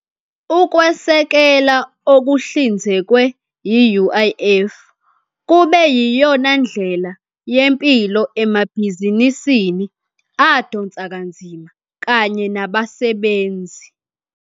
Ukwesekela okuhlinzekwe yi-UIF kube yiyona ndlela yempilo emabhizinisini adonsa kanzima kanye nabasebenzi.